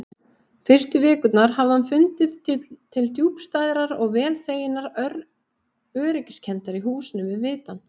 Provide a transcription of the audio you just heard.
Fyrstu vikurnar hafði hann fundið til djúpstæðrar og vel þeginnar öryggiskenndar í húsinu við vitann.